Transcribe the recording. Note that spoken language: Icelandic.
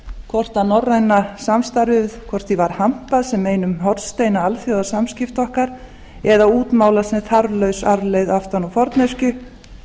hvort norrænu samstarfi var hampað sem einum hornsteina alþjóðasamskipta okkar eða útmálað sem þarflaus arfleifð aftan úr forneskju